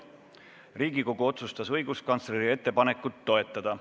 Riigikogu otsustas õiguskantsleri ettepanekut toetada.